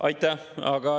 Aitäh!